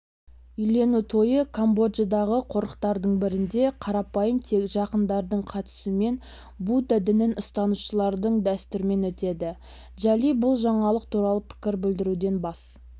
үйлену тойы камбоджадағы қорықтардың бірінде қарапайым тек жақындардың қатысуымен будда дінін ұстанушылардың дүстірмен өтеді джоли бұл жаңалық туралы пікір білдіруден бас